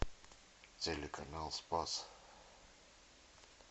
телеканал спас